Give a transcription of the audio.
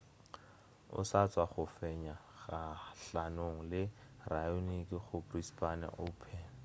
o sa tšwa go fenywa kgahlanong le raonic go brisbane open